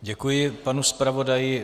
Děkuji panu zpravodaji.